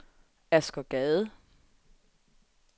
Asger Gade